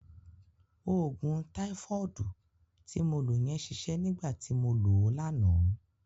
Òògùn táífọ̀dù ti mo lo yẹn ṣiṣẹ́ nígbà tí mo lòó lánàá.